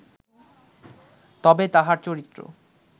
তবে তাঁহার চরিত্র